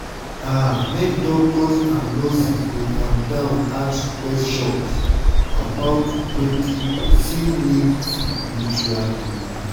ah make doctors and nurses dey calm down ask question about wetin person need spritually.